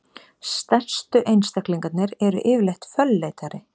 stærstu einstaklingarnir eru yfirleitt fölleitari